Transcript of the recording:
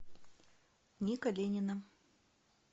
ника ленина